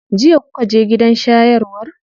Jiya kuka je gidan shayarwar?